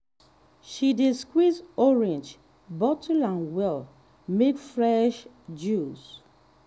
she dey squeeze orange bottle am well make fresh juice.